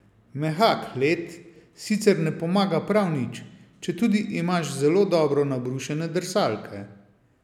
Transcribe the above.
Mehak led sicer ne pomaga prav nič, četudi imaš zelo dobro nabrušene drsalke.